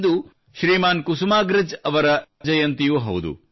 ಇಂದು ಕುಸುಮಾಗ್ರಜ್ ಅವರ ಜನ್ಮ ಜಯಂತಿಯೂ ಹೌದು